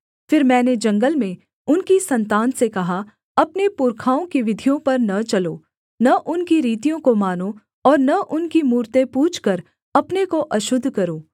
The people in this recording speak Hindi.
फिर मैंने जंगल में उनकी सन्तान से कहा अपने पुरखाओं की विधियों पर न चलो न उनकी रीतियों को मानो और न उनकी मूरतें पूजकर अपने को अशुद्ध करो